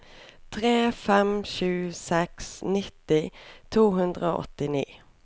tre fem sju seks nitti to hundre og åttini